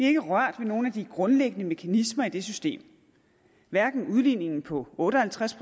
ikke rørt ved nogen af de grundlæggende mekanismer i det system hverken udligningen på otte og halvtreds